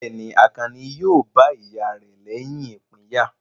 Bẹ́ẹ̀ni, Àkànní yóò bá ìyá rẹ̀ lẹ́yìn ìpínyà?